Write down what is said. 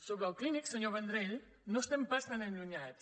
sobre el clínic senyor vendrell no estem pas tan allunyats